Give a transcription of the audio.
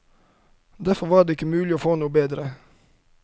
Derfor var det ikke mulig å få noe bedre.